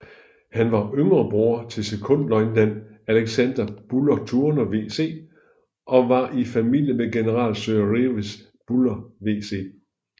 Han var yngre bror til sekondløjtnant Alexander Buller Turner VC og var i familie med General Sir Redvers Buller VC